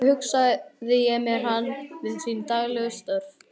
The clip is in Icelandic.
Þannig hugsaði ég mér hann við sín daglegu störf.